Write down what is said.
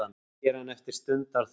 segir hann eftir stundarþögn.